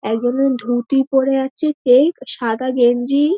একজনের ধুতি পরে আছে কেক সাদা গেঞ্জি |